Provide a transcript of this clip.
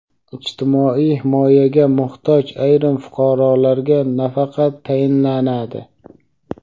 Ijtimoiy himoyaga muhtoj ayrim fuqarolarga nafaqa tayinlanadi.